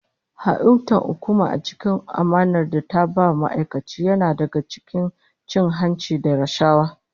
Ha'intar hukuma a cikin amanar da ta ba ma'aikaci yana daga cikin cin hanci da rashawa